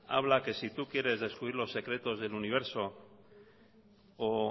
habla que si tú quieres descubrir los secretos del universo o